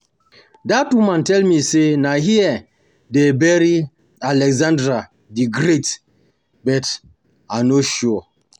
Dat woman tell me say na here dey bury Alexander the great but I no sure